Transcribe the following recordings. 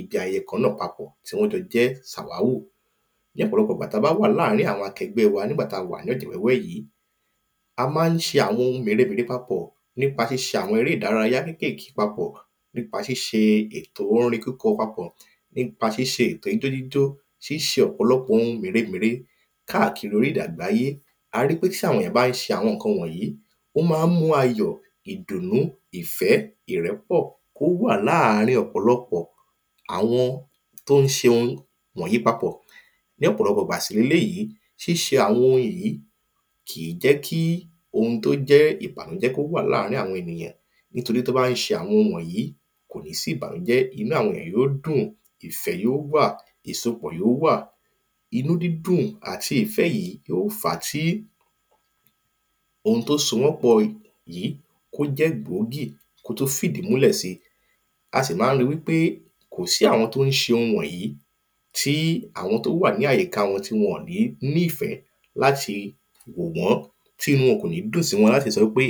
ibi àyè kan náà papọ̀, tí wọ́n jọ jẹ́ sàwáwò. Ní ọpọlọpọ ìgbà tí a ba láàrín àwọn akẹgbẹ́ wa, àwọn nígbà tí a wà ní, a ma ń ṣe àwọn oun méremére pápò, nípà ṣíṣe àwọn eré ìdárayá kékèké pápò, nípa ṣíṣe ètò orin kíkọ papọ̀, nípa ṣíṣe etò ijó jíjó ṣíṣe ọ̀pòlọpò oun méremére, káàkiri orílẹ̀-èdè àgbáyé, a ri wípé tí àwọn èèyàn bá ń ṣe àwọn ǹkan wọ̀nyí, ó ma ń mú ayò, ìdùnnú, ìfẹ́, ìrẹ́pọ̀, kó wà láàrín ọ̀pòlọpọ̀, àwọn tí ó ń ṣe oun wọ̀nyí papọ̀. Ní ọ̀pọ̀lọpọ̀ ìgbà sì le léyìí bà sílèyì, ṣíṣe àwọn oun yí, kìí jẹki oun tó jẹ́ ìbànújẹ́, kò ní jẹki ó wà láàrín àwọn ènìyàn nítorí tí wọ́n ba ṣe oun wọ̀nyí kò ní sí ìbànújẹ́, inú àwọn ènìyàn ó dùn, ìfẹ́ yó wa, ìsopọ̀ yó wà, inú dídùn àti ìfẹ́ yí, yó fàá tí oun tí o sọ wọ́n pọ̀ yí, kí ó jẹ́ gbòógì, kí ó tún fìdí múlẹ̀ si, a sì má ń ri wípé kòsí àwọn tí ó ń ṣe oun wọ̀nyí, tí àwọn tó wà ní àyíká wọn ò ní ní ìfẹ́ láti mọ́ wọ́n tí inú wọn, ò ní dùn láti sọ pé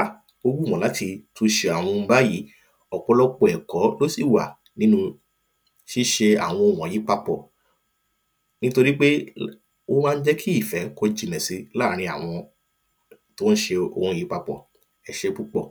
ó wù wọ́n láti tún ṣe àwọn oun báyìí, ọ̀pọ̀lọpọ̀ ẹ̀kọ́ lósì wà nínu ṣíṣe àwọn oun wọ̀nyí papọ̀ nítorí pé ó ma ń jẹ́ kí ìfẹ́ kó jinlẹ̀ si láàrin àwọn tí ó ń ṣe àwọn oun yìí papọ̀. Ẹsé púpọ̀.